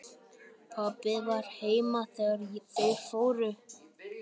Pabbi var heima þegar þeir fóru.